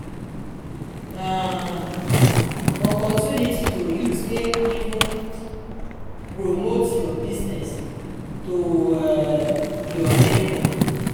na opportunity to use take even promote yur business to um yur neibor